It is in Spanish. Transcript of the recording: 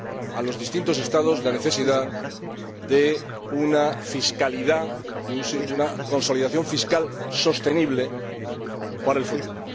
a los distintos Estados la necesidad de una fiscalidad, de una consolidación fiscal sostenible para el futuro.